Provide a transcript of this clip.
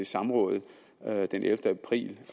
samrådet den ellevte april